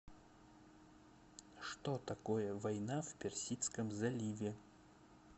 что такое война в персидском заливе